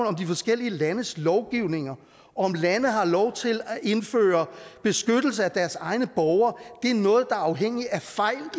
om de forskellige landes lovgivninger og om lande har lov til at indføre beskyttelse af deres egne borgere er noget afhængigt af fejl